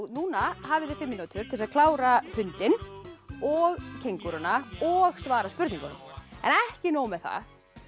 núna hafið þið fimm mínútur til þess að klára hundinn og og svara spurningunum en ekki nóg með það